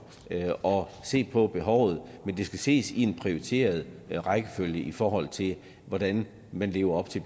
og at se på behovet men det skal ses i en prioriteret rækkefølge i forhold til hvordan man lever op til